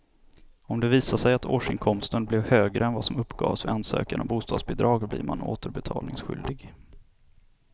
Om det visar sig att årsinkomsten blev högre än vad som uppgavs vid ansökan om bostadsbidrag blir man återbetalningsskyldig.